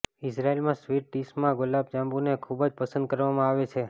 ઇઝરાયલમાં sweet ડિશમાં ગુલાબ જાંબુને ખૂબ જ પસંદ કરવામાં આવે છે